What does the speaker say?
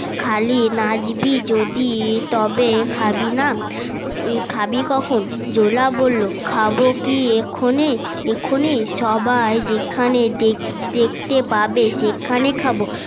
খালি নাচবি যদি তবে খাবি না খাবি কখন জোলা বললো খাবো কি এক্ষুনি এক্ষুনি সবাই যেখানে দেখতে পাবে সেখানে খাবো